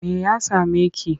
Me ya same ki?